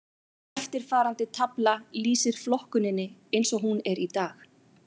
Eftirfarandi tafla lýsir flokkuninni eins og hún er í dag.